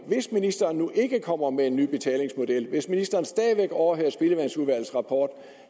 hvis ministeren ikke kommer med en ny betalingsmodel hvis ministeren stadig overhører spildevandsudvalgets rapport